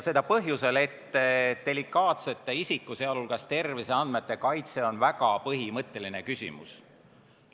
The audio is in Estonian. Seda põhjusel, et delikaatsete isiku-, sh terviseandmete kaitse on väga põhimõtteline küsimus.